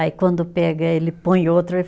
Aí quando pega, ele põe outro.